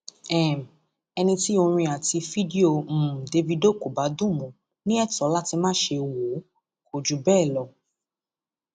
um ẹni tí orin àti fídíò um davido kò bá dùn mọ ní ètò láti máṣe wò ó kò jù bẹẹ lọ